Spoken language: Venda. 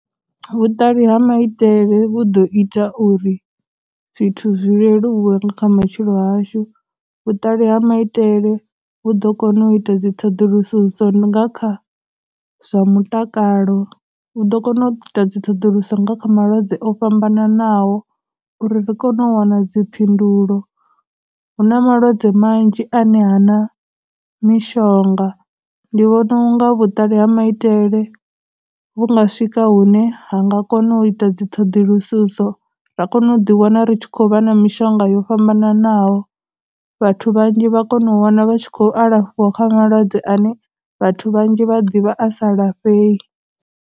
Vhuṱali ha maitele vhu ḓo ita uri zwithu zwi leluwe nga kha matshilo hashu, vhuṱali ha maitele vhu ḓo kona u ita dziṱhoḓulususo dzononga kha zwa mutakalo, vhu ḓo kona u ita dziṱhoḓuluso nga kha malwadze o fhambananaho uri ri kone u wana dzi phindulo. Huna malwadze manzhi ane hana mishonga, ndi vhona u nga vhuṱali ha maitele vhu nga swika hune ha nga kona u ita dziṱhoḓulususo ra kona u ḓi wana ri tshi khou vha na mishonga yo fhambananaho, vhathu vhanzhi vha kona u wana vha tshi khou alafhiwa kha malwadze ane vhathu vhanzhi vha ḓivha a sa lafhei.